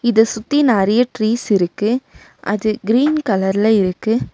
இத சுத்தி நெறையா ட்ரீஸ் இருக்கு அது கிரீன் கலர்ல இருக்கு.